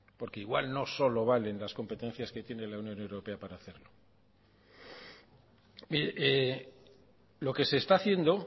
porque igual no solo valen las competencias que tiene la unión europea para hacerlo lo que se está haciendo